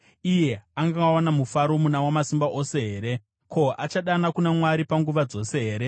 Iye angawana mufaro muna Wamasimba Ose here? Ko, achadana kuna Mwari panguva dzose here?